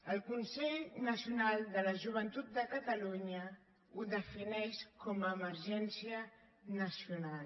el consell nacional de la joventut de catalunya ho defineix com emergència nacional